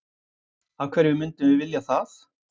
Af hverju myndum við vilja það?